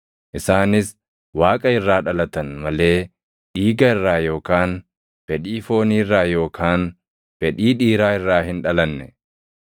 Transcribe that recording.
Isaanis Waaqa irraa dhalatan malee dhiiga irraa yookaan fedhii foonii irraa yookaan fedhii dhiiraa irraa hin dhalanne.